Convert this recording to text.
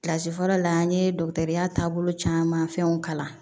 Kilasi fɔlɔ la an ye dɔgɔtɔrɔya taabolo caman fɛnw kalan